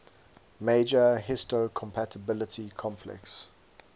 major histocompatibility complex